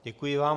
Děkuji vám.